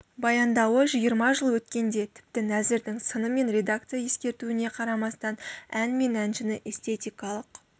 баяндауы жиырма жыл өткенде тіпті нәзірдің сыны мен редакция ескертуіне қарамастан ән мен әншіні эстетикалық